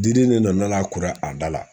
Diden de nana kuru a da la